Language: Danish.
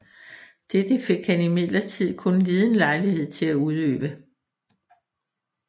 Dette fik han imidlertid kun liden lejlighed til at udøve